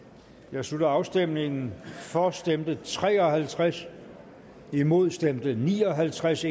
jeg slutter afstemningen for stemte tre og halvtreds imod stemte ni og halvtreds